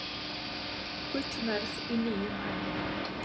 Gullverð í nýjum hæðum